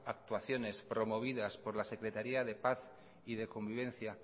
actuaciones promovidas por la secretaría de paz y de convivencia